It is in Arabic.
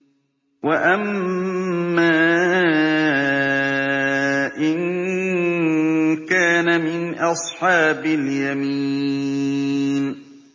وَأَمَّا إِن كَانَ مِنْ أَصْحَابِ الْيَمِينِ